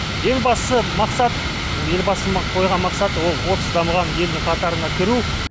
ең бастысы мақсат елбасының қойған мақсаты ол отыз дамыған елдің қатарына кіру